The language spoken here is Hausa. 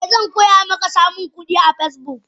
Eh zankoyamaka samunkudi a Facebook.